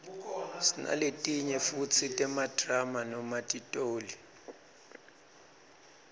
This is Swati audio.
sinaletinye futsi temadrama noma titoli